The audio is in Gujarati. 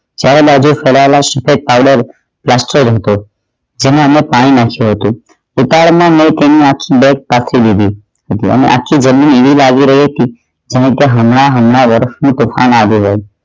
ચારેય બાજુ ફેલાયેલા સફેદ પાઈલર plaster હતો જેમાં અમે પાણી નાખ્યું હતું દુકાળ માં મૈ નાખી દીધી હતું અને આછું લીલી બાજુ રેતી જેમકે હમણાં હમણાં વરસ્તુ તુફાન આવી રહ્યું